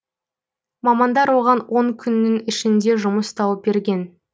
мамандар оған он күннің ішінде жұмыс тауып берген